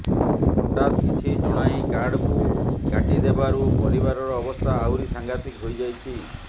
ହଠାତ୍ କିଛି ଜଣାଇ କାର୍ଡକୁ କାଟି ଦେବାରୁ ପରିବାରର ଅବସ୍ଥା ଆହୁରି ସାଂଘାତିକ ହୋଇଯାଇଛି